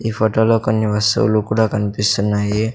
ఈ ఫోటోలో కొన్ని వస్తువులు కూడా కన్పిస్తున్నాయి.